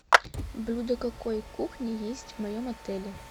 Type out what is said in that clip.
блюда какой кухни есть в моем отеле